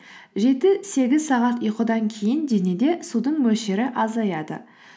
жеті сегіз сағат ұйқыдан кейін денеде судың мөлшері азаяды